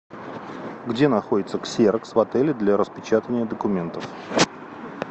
где находится ксерокс в отеле для распечатывания документов